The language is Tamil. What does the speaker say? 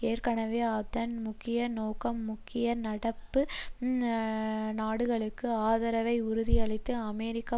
ஏற்கனவே அதன் முக்கிய நோக்கம் முக்கிய நட்பு நாடுகளுக்கு ஆதரவை உறுதியளித்து அமெரிக்க